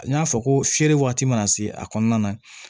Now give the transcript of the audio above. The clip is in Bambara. N y'a fɔ ko fiyɛli waati mana se a kɔnɔna na